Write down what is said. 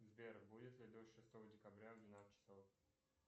сбер будет ли дождь шестого декабря в двенадцать часов